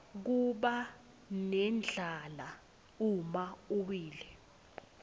kubanendlala uma uwile